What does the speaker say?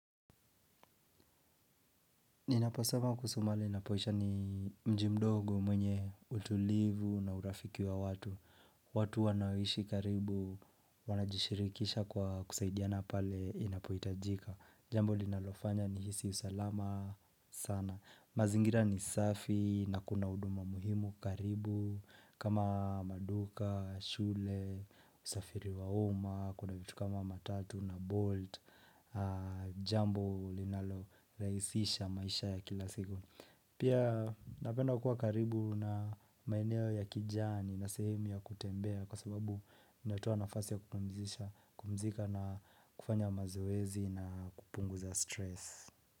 Ninaposema kuhusu mahali ninapoishi ni mji mdogo mwenye utulivu na urafiki wa watu. Watu wanaoishi karibu wanajishirikisha kwa kusaidiana pale inapohitajika. Jambo linalofanya ni hisi usalama sana. Mazingira ni safi na kuna huduma muhimu karibu kama maduka, shule, usafiri wa umma, kuna vitu kama matatu na bolt. Jambo linalo rahisisha maisha ya kila siku Pia napenda kuwa karibu na maeneo ya kijani na sehemu ya kutembea Kwa sababu inatoa nafasi ya kupumzika na kufanya mazoezi na kupunguza stress.